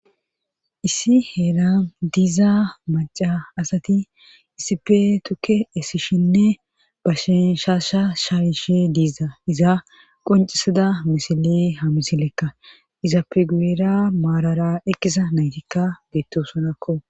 issi heera diza maca asati isipe tukke esishinne bashishaasha shaawishe diiza iza qoncisada misile ha misilekka iza peguera maarara ekkisa naytikka beettosonakko